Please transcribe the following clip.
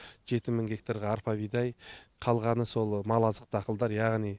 жеті мың гектарға арпа бидай қалғаны сол мал азықтық дақылдар яғни